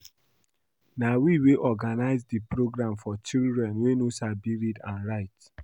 Na we wey organize the program for children wey no sabi read and write